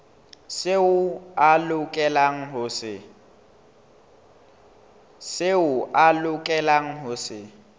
seo a lokelang ho se